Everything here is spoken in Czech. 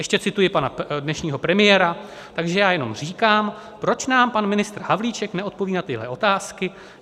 Ještě cituji pana dnešního premiéra: Takže já jenom říkám, proč nám pan ministr Havlíček neodpoví na tyhle otázky.